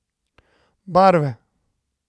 Barve.